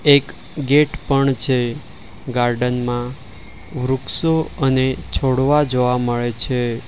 એક ગેટ પણ છે ગાર્ડન માં વૃક્ષો અને છોડવા જોવા મળે છે.